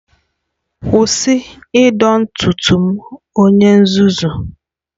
Kwụsị ịdọ ntutu m onye nzuzu!